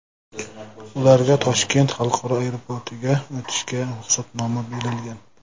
Ularga Toshkent xalqaro aeroportiga o‘tishga ruxsatnoma berilgan.